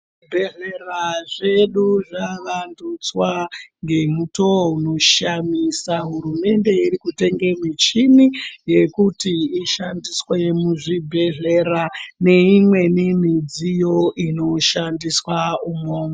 Zvibhedhlera zvedu zvavandudzwa ngemuto unoshamisa hurumende irikutenga mushini yekuti ishandiswa muzvibhehlera neimweni mudziyo inoshandiswa umomo.